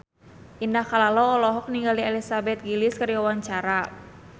Indah Kalalo olohok ningali Elizabeth Gillies keur diwawancara